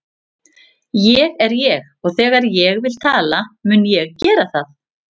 Ég er ég og þegar ég vil tala mun ég gera það.